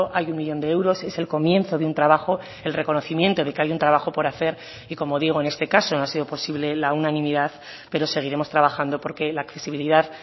hay un millón de euros es el comienzo de un trabajo el reconocimiento de que hay un trabajo por hacer y como digo en este caso no ha sido posible la unanimidad pero seguiremos trabajando porque la accesibilidad